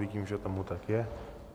Vidím, že tomu tak je.